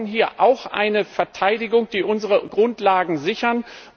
Wir brauchen hier auch eine Verteidigung, die unsere Grundlagen sichert.